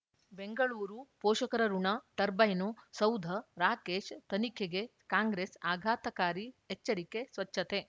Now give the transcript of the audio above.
ಬೆಂಗಳೂರು ಪೋಷಕರಋಣ ಟರ್ಬೈನು ಸೌಧ ರಾಕೇಶ್ ತನಿಖೆಗೆ ಕಾಂಗ್ರೆಸ್ ಆಘಾತಕಾರಿ ಎಚ್ಚರಿಕೆ ಸ್ವಚ್ಛತೆ